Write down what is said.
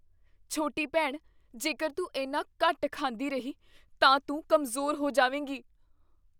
ਛੋਟੀ ਭੈਣ, ਜੇਕਰ ਤੂੰ ਇੰਨਾ ਘੱਟ ਖਾਂਦੀ ਰਹੀ ਤਾਂ ਤੂੰ ਕਮਜ਼ੋਰ ਹੋ ਜਾਵੇਂਗੀ ।